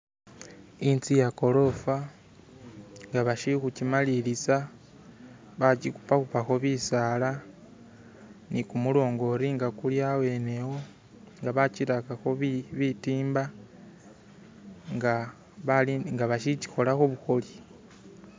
Inzu yegorofa nga bashili khukimaliliza, bakikhupakhupakho bisala ne kumulongoti nga kuli awo nga bakirakakho bitimba nga basikikholakho bukholi.